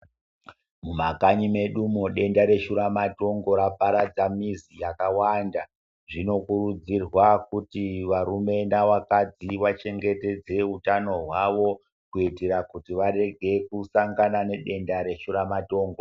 Mukanyi mwedumo denda reshura matongo raparadza muzi dzakawanda zvinokurudzirwa kuti varume navakadzi vachengetedze hutano hwawo kuitira kuti varege kusangana nedenda reshura matongo.